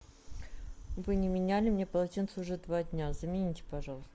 вы не меняли мне полотенце уже два дня замените пожалуйста